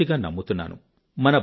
పూర్తిగా నమ్ముతున్నాను